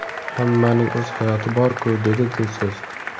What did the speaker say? Hammaning o‘z hayoti bor-ku”, dedi Dilso‘z.